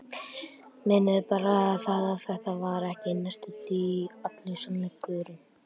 Meinið er bara það, að þetta var ekki næstum því allur sannleikurinn.